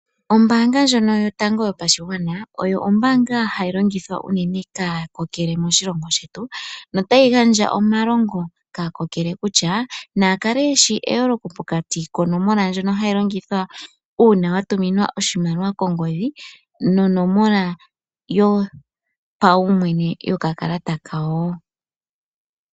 Ombaanga ndjono yotango yopashigwana oyo ombaanga hayi longithwa unene kaakokele moshilongo shetu. No tayi gandja omalongo kaakokele kutya na ya kale yeshi eyooloko pokati konomola ndjono hayi longithwa uuna wa tuminwa oshimaliwa kongodhi, nonomola yo paumwene yokakalata kawo.